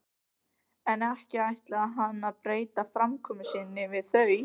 En ekki ætlaði hann að breyta framkomu sinni við þau.